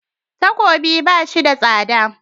Takobi ba shi da tsada.